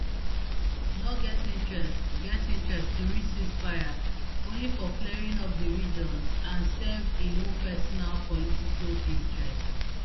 no get interest get interest to reach ceasefire only for flaring up di region and serve im own personal political interests